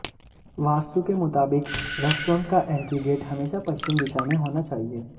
वास्तु के मुताबिक रेस्ट्रॉन्ट का एंट्री गेट हमेशा पश्चिम दिशा में होना चाहिए